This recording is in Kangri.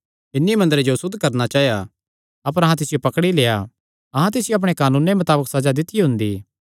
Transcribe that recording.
इन्हीं मंदरे जो असुद्ध करणा चाया अपर अहां तिसियो पकड़ी लेआ अहां तिसियो अपणे कानूने मताबक सज़ा दित्तियो हुंदी